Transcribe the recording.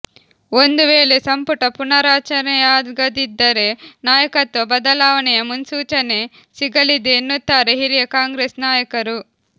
ಒಂದು ವೇಳೆ ಸಂಪುಟ ಪುನಾರಚನೆಯಾಗದಿದ್ದರೆ ನಾಯಕತ್ವ ಬದಲಾವಣೆಯ ಮುನ್ಸೂಚನೆ ಸಿಗಲಿದೆ ಎನ್ನುತ್ತಾರೆ ಹಿರಿಯ ಕಾಂಗ್ರೆಸ್ ನಾಯಕರು